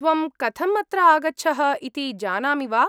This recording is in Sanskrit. त्वं कथम् अत्र आगच्छः इति जानामि वा?